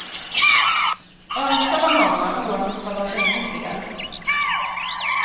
Önskad av många, oönskad av ännu fler.